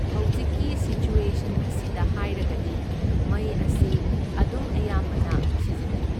ꯍꯧꯖꯤꯛꯀꯤ ꯁꯤꯆ꯭ꯋꯦꯁꯟ ꯑꯁꯤꯗ ꯍꯥꯏꯔꯒꯗꯤ ꯃꯩ ꯑꯁꯤ ꯑꯗꯨꯝ ꯑꯌꯥꯝꯕꯅ ꯁꯤꯖꯤꯟꯅꯩ,꯫